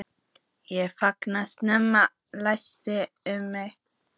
Ég fann skrekkinn læsast um mig.